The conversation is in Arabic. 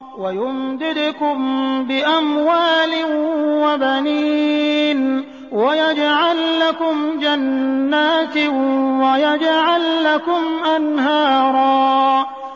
وَيُمْدِدْكُم بِأَمْوَالٍ وَبَنِينَ وَيَجْعَل لَّكُمْ جَنَّاتٍ وَيَجْعَل لَّكُمْ أَنْهَارًا